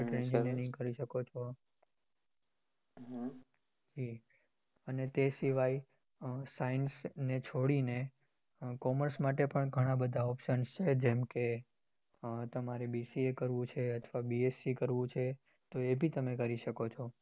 હે અને તે સિવાય એ science ને છોડી ને commerce માટે પણ ગણા options છે જેમ કે એ તમારે BCA એ કરવું છે અથવા BSC કરવું છે એ તમે કરી શકો છો